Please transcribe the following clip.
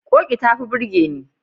Ƙoƙi ta fi burge ni.